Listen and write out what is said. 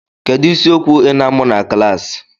Kedu isiokwu ị na-amụ na klaasị?